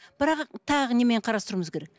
бірақ тағы немен қарастыруымыз керек